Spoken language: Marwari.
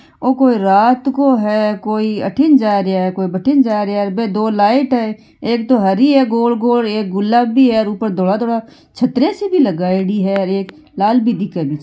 ओ कोई रात को हैं कोई अठीन जारीया है कोइ बठींन जा रहिये है बे दो लाइट है एक दो हरी है गोल गोल एक गुलाबी है और ऊपर धोला धोला छत्रिया सी भी लगाईडी है --